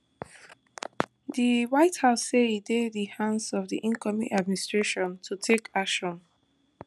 di white house say e dey di hands of di incoming administration to take action